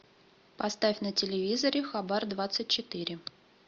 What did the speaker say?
поставь на телевизоре хабар двадцать четыре